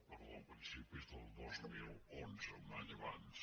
perdó a principis del dos mil onze un any abans